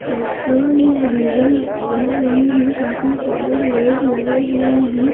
Petrol या diesel भर रहे हैं काफी सारे लोग लगे हुए हैं।